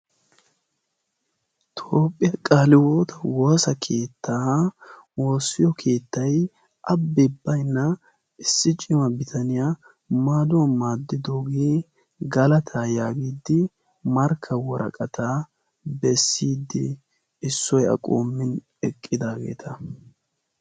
Toophphiyaa qaale hiwoota woosa keettaa oossiyo keettay abbi baynna issi ciima bitaniyaa maaduwan maaddidoogee galata yaagiddi markka woraqataa bessidi issoy aqommin eqqidaageeta.